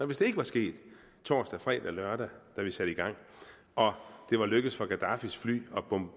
hvis det ikke var sket torsdag fredag lørdag da vi satte i gang og det var lykkedes for gadaffis fly